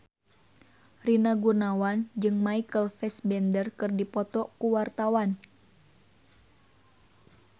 Rina Gunawan jeung Michael Fassbender keur dipoto ku wartawan